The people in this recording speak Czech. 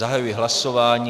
Zahajuji hlasování.